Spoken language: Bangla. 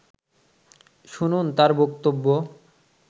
শুনুন তার বক্তব্য